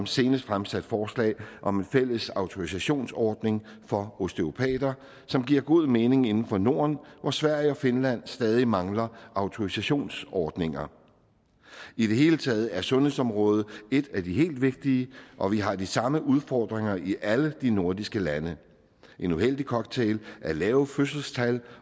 senest fremsat forslag om en fælles autorisationsordning for osteopater som giver god mening inden for norden hvor sverige og finland stadig mangler autorisationsordninger i det hele taget er sundhedsområdet et af de helt vigtige og vi har de samme udfordringer i alle de nordiske lande en uheldig cocktail af lave fødselstal